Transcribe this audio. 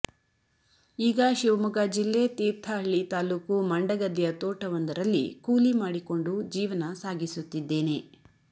ಈಗ ಶಿವಮೊಗ್ಗ ಜಿಲ್ಲೆ ತೀರ್ಥಹಳ್ಳಿ ತಾಲೂಕು ಮಂಡಗದ್ದೆಯ ತೋಟವೊಂದರಲ್ಲಿ ಕೂಲಿ ಮಾಡಿಕೊಂಡು ಜೀವನ ಸಾಗಿಸುತ್ತಿದ್ದೇನೆ